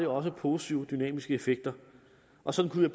også positive dynamiske effekter og sådan kunne